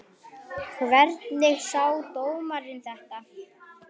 Hvernig sá dómarinn þetta?